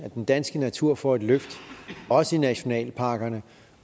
den danske natur får et løft også i nationalparkerne